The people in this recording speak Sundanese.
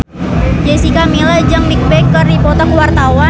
Jessica Milla jeung Bigbang keur dipoto ku wartawan